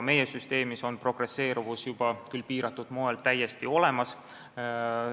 Meie süsteemis on progresseeruvus juba, küll piiratud moel, täiesti olemas.